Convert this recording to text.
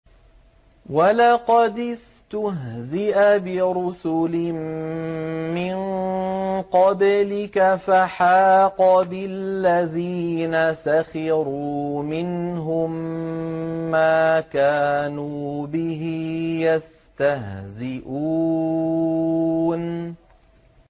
وَلَقَدِ اسْتُهْزِئَ بِرُسُلٍ مِّن قَبْلِكَ فَحَاقَ بِالَّذِينَ سَخِرُوا مِنْهُم مَّا كَانُوا بِهِ يَسْتَهْزِئُونَ